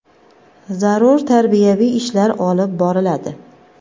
zarur tarbiyaviy ishlar olib boriladi.